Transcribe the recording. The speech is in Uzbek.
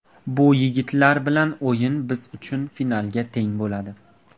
Bu yigitlar bilan o‘yin biz uchun finalga teng bo‘ladi.